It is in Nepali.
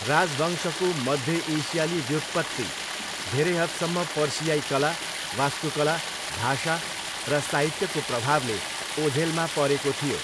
राजवंशको मध्य एसियाली व्युत्पत्ति धेरै हदसम्म पर्सियाई कला, वास्तुकला, भाषा र साहित्यको प्रभावले ओझेलमा परेको थियो।